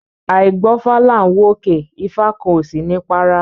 Áì gbọfá là ń wòkè, ifá kan ó sini párá